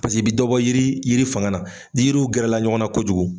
Paseke i bi dɔ bɔ yiri yiri fanga na. N'i yiriw gɛrɛla ɲɔgɔnna kojugu